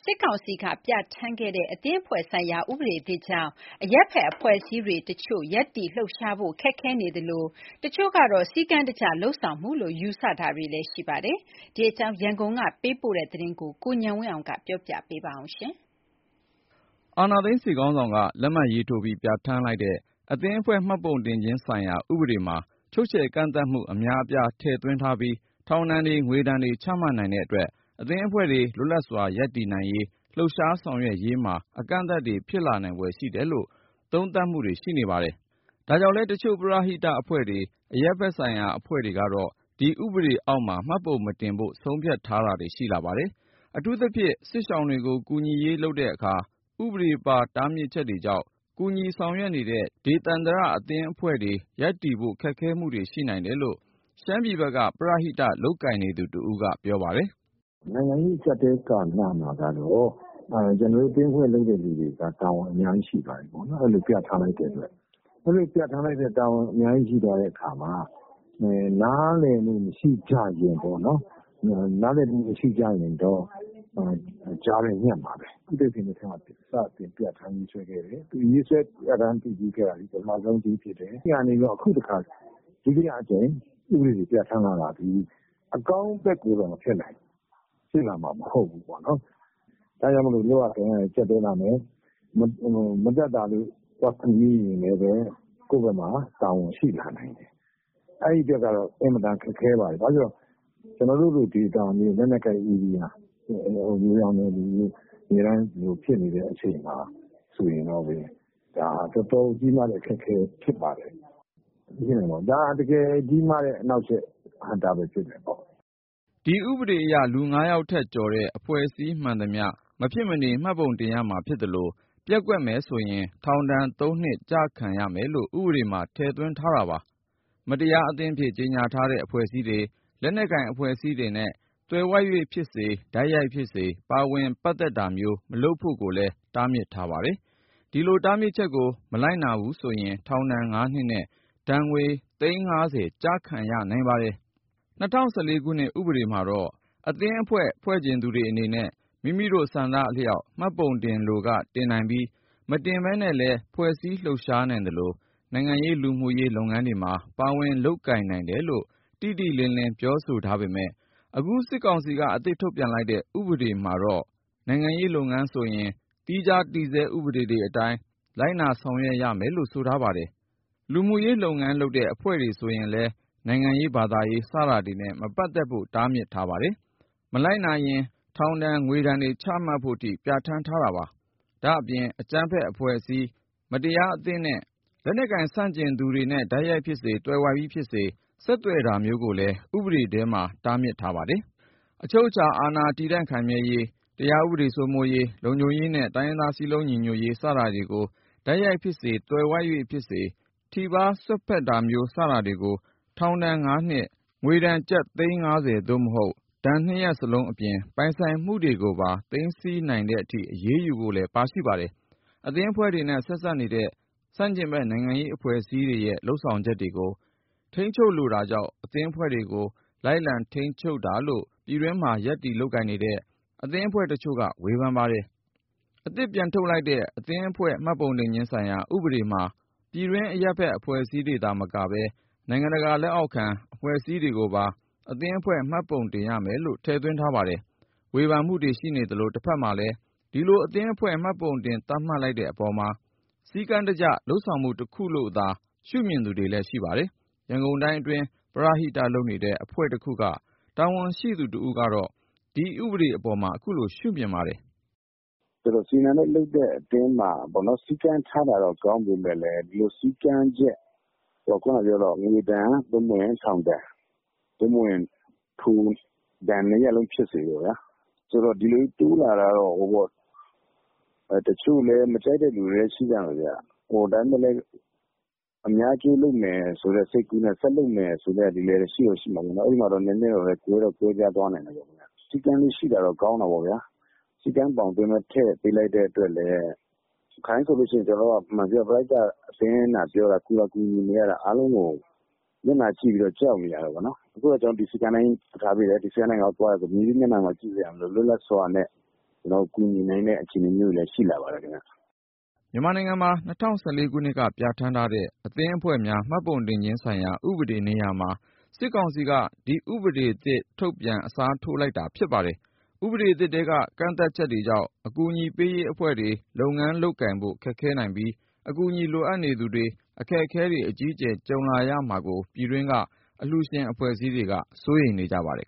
စ်ကောင်စီက ပြဌာန်းခဲ့တဲ့ အသင်းအဖွဲ့ဆိုင်ရာ ဥပဒေသစ်ကြောင့် အရပ်ဘက်အဖွဲ့အစည်းတွေတချို့ရပ်တည်လှုပ်ရှားဖို့ခက်ခဲနေသလို၊ တချို့ကတော့ စည်းကမ်းတကျလုပ်ဆောင်မှုလို့ ယူဆမှုလည်းရှိပါတယ်။ ဒီအကြောင်း ရန်ကုန်က ပေးပို့တဲ့သတင်းကို ကိုဉာဏ်ဝင်းအောင်က ပြောပြမှာပါ။ အာဏာသိမ်း စစ်ခေါင်းဆောင်က လက်မှတ်ရေးထိုးပြီး ပြဋ္ဌာန်းလိုက်တဲ့ “အသင်းအဖွဲ့ မှတ်ပုံတင် ခြင်းဆိုင်ရာ ဥပဒေ”မှာ ချုပ်ချယ် ကန့်သတ်မှု အများ အပြား ထည့်သွင်းထားပြီး ထောင်ဒဏ်တွေ၊ ငွေဒဏ်တွေ ချမှတ်နိုင်တဲ့ အတွက် အသင်းအဖွဲ့တွေ လွတ်လပ်စွာ ရပ်တည်ရေး၊ လှုပ်ရှားဆောင်ရွက်ရေးတွေမှာ အကန့်အသတ်တွေ ဖြစ်လာနိုင်ဖွယ်ရှိတယ်လို့ သုံးသပ်မှု တွေရှိနေပါတယ်။ ဒါကြောင့်လည်း တချို့ ပရဟိတအဖွဲ့တွေ အရပ်ဖက်အဖွဲ့တွေကတော့ ဒီဥပဒေအောက်မှာ မှတ်ပုံမတင်ဖို့ ဆုံးဖြတ်တာတွေရှိလာပါတယ်။ အထူးသဖြင့် စစ်ရှောင်တွေကို ကူညီရေးလုပ်တဲ့အခါ ဥပဒေပါတားမြစ်ချက်ကြောင့် ကူညီဆောင်ရွက် နေတဲ့ ဒေသန္တရ အသင်းအဖွဲ့တွေရပ်တည်ဖို့ ခက်ခဲမှုတွေရှိနိုင်တယ်လို့ ရှမ်းပြည်ဘက်က ပရဟိတ လုပ်ကိုင် နေသူတဦးကပြောပါတယ်။ “ နိုင်ငံရေး အကျပ်အတည်း ကာလမှာတော့ အဲလိုပြဌာန်းလိုက်တဲ့အတွက် ကျနော်တို့ အသင်းအဖွဲ့လုပ်တဲ့ သူတွေက တာဝန်အများကြီး ရှိပါတယ်။ နားလည်မှု မရှိကြရင်တော့ ကျနော်တို့က ကြားထဲညှပ်မှာပဲ။ ဒီလိုဥပဒေကို ဦးသိန်းစိန်လက်ထက်မှာ စတင်ပြဌာန်းခဲ့တယ် အခုတခါ ထပ်ပြီး ပြဌာန်းတာကတော့ အကောင်းဖက်ကို ဖြစ်လာမှာ မဟုတ်ဘူး။ လုပ်ရကိုင်ရ ပိုကျပ်တည်းလာမယ်။ မတတ်သာလို့ သွားကူမိရင်လည်းပဲ ကိုယ့်ဖက်မှာ တာဝန်ရှိလာနိုင်တယ်။ အဲဒီအတွက်ကတော့ အင်မတန် ခက်ခဲပါတယ်။ ခုလို ကာလမျိုးမှာ တော်တော်ခက်ခဲပါတယ်။ ဒါဟာ အလွန်ကြီးမားတဲ့ အနှောက်အယှက် အဟန့်အတားဖြစ်ပါတယ်။ ” ဒီဥပဒေအရ လူငါးယောက်ထက်ကျော်တဲ့ အဖွဲ့အစည်းမှန်သမျှ မဖြစ်မနေ မှတ်ပုံတင်ရမှာဖြစ်သလို ပျက်ကွက်မယ်ဆိုရင် ထောင်ဒဏ် ၃ နှစ် ကျခံရမယ်လို့ ဥပဒေမှာ ထည့်သွင်းထားပါတယ်။ မတရား အသင်းအဖြစ် ကြေညာထားတဲ့ အဖွဲ့အစည်းတွေ၊ လက်နက်ကိုင် အဖွဲ့အစည်းတွေနဲ့ သွယ်ဝိုက်ဖြစ်စေ၊ တိုက်ရိုက်ဖြစ်စေ ပါဝင်ဆက်နွယ်တာမျိုးမလုပ်ဖို့လည်း တားမြစ်ထားပါတယ်။ ဒီတားမြစ်ချက်ကို ကိုမလိုက်နာရင် ထောင်ဒဏ် ၅ နှစ်နဲ့ ဒဏ်ငွေသိန်း ၅၀ ကျခံရနိုင်ပါတယ်။ ၂၀၁၄ ခုနှစ် ဥပဒေမှာတော့ အသင်းအဖွဲ့ဖွဲ့ချင် သူတွေ အနေနဲ့ မိမိတို့ ဆန္ဒအလျှောက် မှတ်ပုံတင်လိုက တင်နိုင်ပြီး မတင်ဘဲနဲ့လည်းဖွဲ့စည်း လှုပ်ရှားနိုင်သလို၊ နိုင်ငံရေး၊ လူမှုရေး လုပ်ငန်း တွေမှာ ပါဝင်လုပ်ကိုင်နိုင်တယ်လို့ တိတိလင်းလင်း ပြောဆို ထားပေမယ့် အခု စစ်ကောင်စီက အသစ်ထုတ်ပြန်လိုက်တဲ့ ဥပဒေမှာတော့ နိုင်ငံရေး လုပ်ငန်းဆိုရင် သီးခြားတည်ဆဲ ဥပဒေတွေအတိုင်း လိုက်နာ ဆောင်ရွက်ရမယ်လို့ဆိုထားပါတယ်။ လူမှုရေးလုပ်ငန်းလုပ်တဲ့ အဖွဲ့ဆိုရင်လည်း နိုင်ငံရေး၊ ဘာသာရေး စတာတွေ နဲ့ မပတ်သက်ဖို့ တားမြစ်ထားပါတယ်။ မလိုက်နာနိုင်ရင်လဲ ထောင်ဒဏ် ငွေဒဏ်တွေ ချမှတ် ဖို့ ထိ ပြဌာန်းထားတာပါ။ အဲဒါအပြင် အကြမ်းဖက်အဖွဲ့ အစည်း၊ မတရားအသင်းနဲ့ လက်နက်ကိုင် ဆန့်ကျင်သူတွေနဲ တိုက်ရိုက် ဖြစ်စေ သွယ်ဝိုက်ပြီး ဖြစ်စေ ဆက်သွယ်တာမျိုးကိုလည်း ဥပဒေထဲ တားမြစ်ထားပါတယ်။ အချုပ်အချာအာဏာတည့်တံခိုင်မြဲရေး၊ တရားဥပဒေ စိုးမိုးရေး၊ လုံခြုံရေးနဲ့ တိုင်းရင်းသား စည်းလုံးညီညွတ်ရေး စတာတွေကို တိုက်ရိုက် ဖြစ်စေ၊ သွယ်ဝိုက် ဖြစ်စေ ထိပါး စွက်ဖက်တာမျိုး စတာတွေကို ထောင် ၅နှစ်၊ ကျပ်သိန်း ၅၀ သို့မဟုတ် ဒဏ် ၂ရပ်လုံး အပြင် ပိုင်ဆိုင်မှုတွေကို နိုင်ငံပိုင်သိမ်းတဲ့ အထိ အရေးယူ ဖို့ လည်းပါရှိပါတယ်။ အသင်းအဖွဲ့တွေနဲ့ ဆက်စပ်နေတဲ့ ဆန့်ကျင်ဘက်နိုင်ငံရေးအဖွဲ့အစည်းတွေရဲ့ လုပ်ဆောင်ချက်တွေကို ထိန်းချုပ်လိုတာကြောင့် အသင်း အဖွဲ့တွေကိုပါ လိုက်လံထိန်းချုပ်တာလို့ ပြည်တွင်း မှာ ရပ်တည် လုပ်ကိုင်နေတဲ့ အသင်းအဖွဲ့တချို့က ဝေဖန်ပါတယ်။ အသစ်ထုတ်ပြန်လိုက်တဲ့ 'အသင်းအဖွဲ့ မှတ်ပုံတင်ခြင်းဆိုင်ရာ ဥပဒေ' မှာ ပြည်တွင်းအရပ်ဘက် အဖွဲ့တွေသာမက နိုင်ငံတကာ လက်အောက်ခံ အဖွဲ့အစည်းတွေကိုပါ အသင်းအဖွဲ့ မှတ်ပုံတင်ရမယ်လို့ ထည့်သွင်းထားပါတယ်။ ဝေဖန်မှုတွေရှိနေသလို တဖက်မှာလည်း ဒီလိုအသင်းအဖွဲ့မှတ်ပုံတင်သတ်မှတ်လိုက်တဲ့အပေါ်မှာ စည်း ကမ်းတကျလုပ်ဆောင်မှု တခုလို့သာရှုမြင်သူတွေလည်းရှိပါတယ်။ ရန်ကုန်တိုင်းအတွင်းမှာ ပရဟိတ လုပ်နေတဲ့ အဖွဲ့တခုက တာဝန်ရှိသူတဦးကတော့ ဒီဥပဒေအပေါ် အခုလိုရှုမြင်ပါတယ်။ “ စည်းကမ်း ထားတာတော့ ကောင်းပေမဲ့လည်း ငွေဒဏ် ထောင်ဒဏ် ဒဏ်နှစ်ရပ်လုံး ဖြစ်စေပေါ့ဗျာ ၊ အဲဒီလိုစည်းကမ်းချက်တွေ တိုးလာတာကို မကြိုက်တဲ့သူတွေလည်း ရှိနိုင်တယ်။ ဒါပေမဲ့လည်း အများအကျိုးလုပ်မယ်ဆိုတဲ့ စိတ်ကူးနဲ့ ဆက်လုပ်မယ်ဆိုတဲ့ သူတွေလည်း ရှိဦးမှာပါ။ စည်းကမ်းရှိတာတော့ ကောင်းတာပေါ့ဗျာ။ ကျနော်တို့က ပရဟိတ အသင်းသာ ပြောတာ၊ ကူသာကူညီနေရတာ အားလုံးကို မျက်နှာကြည့်ပြီး ကြောက်နေရတာပေ့ါနော်။ အခုတော့ စည်းကမ်းသတ်မှတ် သတ်မှတ် ပေးထားတာဆိုတော့ ဒီစည်းကမ်းအတိုင်းပဲ သွားတယ်ဆိုရင် ၊ ဘယ်သူ့မျက်နှာမှ ကြည့်စရာမလိုတော့ပဲ လွတ်လပ်စွာနဲ့ ကူညီနိုင်တဲ့ အနေအထားမျိုး ရှိလာပါတယ်။ ” မြန်မာနိုင်ငံမှာ ၂၀၁၄ ခုနှစ်က ပြဌာန်းထားတဲ့ 'အသင်းအဖွဲ့များ မှတ်ပုံတင်ခြင်းဆိုင်ရာ ဥပဒေ' နေရာမှာ စစ်ကောင်စီက ဒီ ဥပဒေသစ်ထုတ်ပြန် အစားထိုးလိုက်တာဖြစ်ပါတယ်။ ဥပဒေအသစ်ထဲက ကန့်သတ် ချက် တွေကြောင့် အကူအညီပေးရေးအဖွဲ့တွေ လုပ်ငန်းလုပ်ကိုင်ဖို့ ခက်ခဲနိုင်ပြီး အကူအညီ လိုအပ်သူတွေ အခက်အခဲတွေ အကြီးအကျယ် ကြုံရမှာကို ပြည်တွင်းက အလှုရှင် အဖွဲ့အစည်းတွေက စိုးရိမ်နေကြပါတယ်